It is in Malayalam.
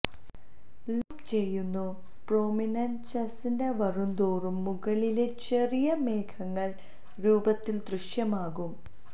ലൂപ്പ് ചെയ്യുന്നു പ്രൊമിനെന്ചെസ് ന്റെ വരുന്തോറും മുകളിലെ ചെറിയ മേഘങ്ങൾ രൂപത്തിൽ ദൃശ്യമാകും